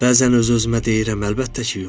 Bəzən öz-özümə deyirəm, əlbəttə ki, yox.